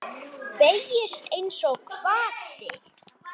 Beygist einsog hvati.